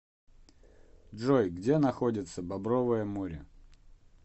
джой где находится бобровое море